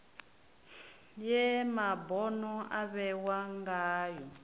ye mabono a vhewa ngayo